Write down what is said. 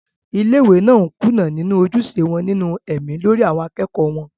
ilé ìwé náà ń kùnà nínú ojúṣe wọn nínú ẹ̀mí lórí àwọn akẹ́kọ̀ọ́ wọn